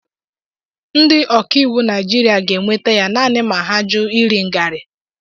Ndị ọkaiwu Naijiria ga-enweta ya naanị ma ha jụ iri ngarị.